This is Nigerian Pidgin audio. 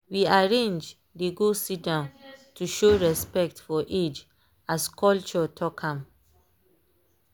we arrange dey go sit down to show respect for age as culture talk am.